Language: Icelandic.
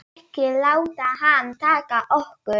Ekki láta hana taka okkur.